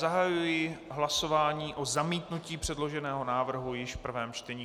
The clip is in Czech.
Zahajuji hlasování o zamítnutí předloženého návrhu již v prvém čtení.